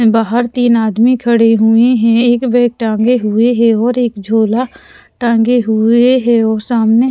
बाहर तीन आदमी खड़े हुए हैं एक बैग टांगे हुए है और एक झोला टांगे हुए है और सामने --